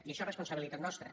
i això és responsabilitat nostra